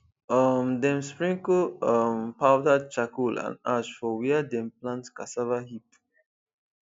um dem sprinkle um powdered charcoal and ash for where dem plant cassava heap